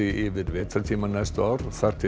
yfir vetrartímann næstu ár þar til